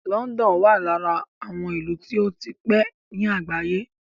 London wà lára àwọn ìlú tó ti pé ní àgbáyé.